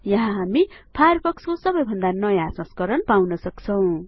यहाँ हामी फायरफक्स को सबैभन्दा नयाँ संस्करण सधैं पाउँन सक्छौं